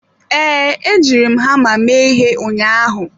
Ee, ejiri m hama mee ihe ụnyaahụ.